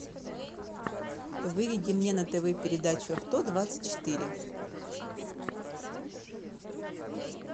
выведи мне на тв передачу авто двадцать четыре